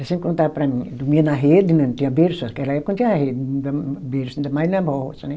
Ela sempre contava para mim, dormia na rede, né, não tinha berço, aquela época não tinha rede, berço, ainda mais na roça, né?